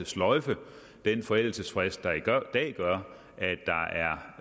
sløjfe den forældelsesfrist der i dag gør